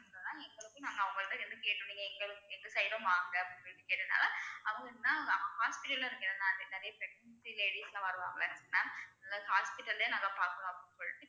ma'am எங்க side உம் வாங்க அப்படின்னு சொல்லி கேட்டதுனால அவங்களுக்கு நான் hospital ல இருக்கேன் நிறைய pregnant ladies லாம் வருவாங்க ma'am அது hospital லயே பாக்கறோம் அப்படினு சொல்லிட்~